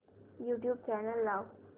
YouTube channel लाव